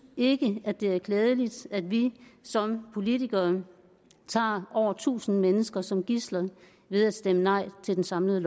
ikke det er klædeligt at vi som politikere tager over tusind mennesker som gidsler ved at stemme nej til det samlede